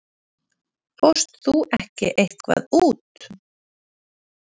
Fórst þú ekki eitthvað út?